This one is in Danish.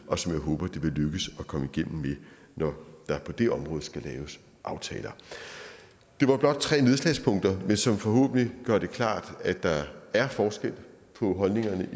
og som jeg håber det vil lykkes at komme igennem med når der på det område skal laves aftaler det var blot tre nedslagspunkter som forhåbentlig gør det klart at der er forskel på holdningerne